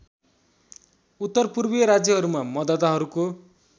उत्तरपूर्वीय राज्यहरूमा मतदाताहरूको